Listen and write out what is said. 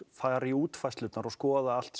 fara í útfærslurnar og skoða allt